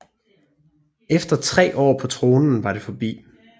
Efter tre år på tronen var det forbi